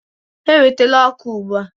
Ewetala ọkụ ugbu a.